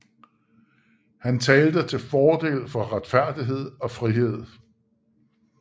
Han talte til fordel for retfærdighed og frihed